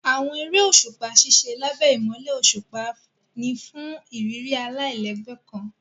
Àwọn eré òṣùpá ṣiṣẹ lábé imọlẹ òṣùpá fún ìrírí alailẹgbẹ kàn.